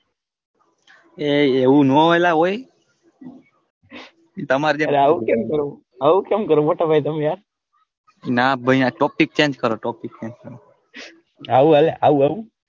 એ એ એવું ના હોય ઓંય તામાર જેવા આવું કેમ કરો આવું કોમ કરો ના ભાઈ આ topic change કરો topic change કરો આવું હાલે આવું આવું.